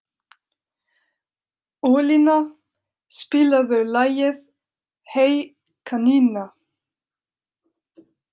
Ólína, spilaðu lagið „Hey kanína“.